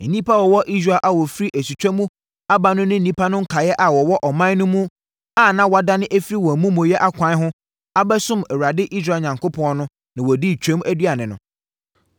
Nnipa a wɔwɔ Israel a wɔfiri asutwa mu aba no ne nnipa no nkaeɛ a wɔwɔ ɔman no mu no a wɔadane afiri wɔn amumuyɛ akwan ho abɛsom Awurade Israel Onyankopɔn no na wɔdii twam aduane no.